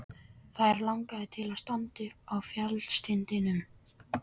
Þær langaði til að standa uppi á fjallstindinum.